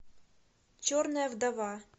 черная вдова